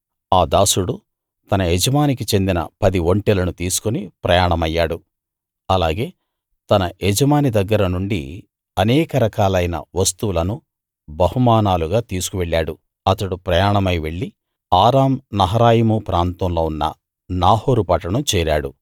ఆ దాసుడు తన యజమానికి చెందిన పది ఒంటెలను తీసుకుని ప్రయాణమయ్యాడు అలాగే తన యజమాని దగ్గర నుండి అనేక రకాలైన వస్తువులను బహుమానాలుగా తీసుకు వెళ్ళాడు అతడు ప్రయాణమై వెళ్ళి ఆరాం నహరాయిము ప్రాంతంలో ఉన్న నాహోరు పట్టణం చేరాడు